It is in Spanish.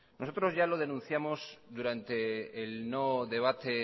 nosotros ya lo denunciamos durante el no debate